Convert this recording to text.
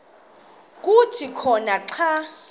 kuthi khona xa